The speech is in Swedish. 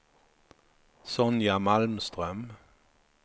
Sonja Malmström